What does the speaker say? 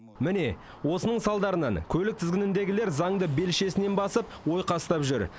міне осының салдарынан көлік тізгініндегілер заңды белшесінен басып ойқастап жүр